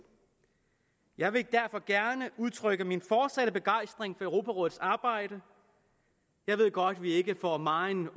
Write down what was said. jeg vil derfor gerne udtrykke min fortsatte begejstring europarådets arbejde jeg ved godt vi ikke får megen